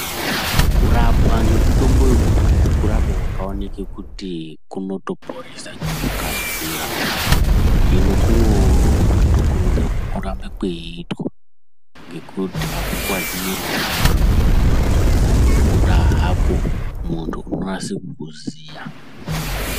Kurapwa nemutombo wekudhaya kurapwa kwakaonekwa kuti kunotoponesa ngekukasira hino kunokurudzirwa ngekuti kwakanaka Kweitwa ngekuti akukuwadzi muviri wemuntu asi kunongoda hako muntu weinyasa kukuziya.